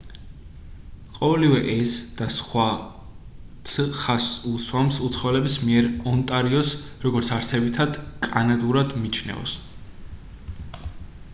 ყოველივე ეს და სხვაც ხაზს უსვამს უცხოელების მიერ ონტარიოს როგორც არსებითად კანადურად მიჩნევას